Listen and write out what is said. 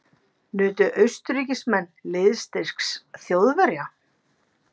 Nutu Austurríkismenn liðsstyrks Þjóðverja.